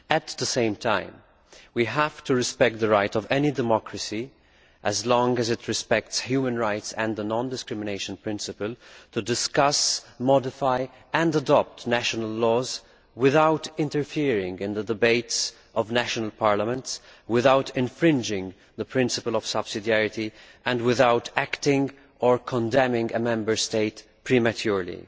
At the same time, we have to respect the right of any democracy, as long as it respects human rights and the non discrimination principle, to discuss, modify and adopt national laws, without interfering in the debates of national parliaments, without infringing the principle of subsidiarity and without acting or condemning a Member State prematurely.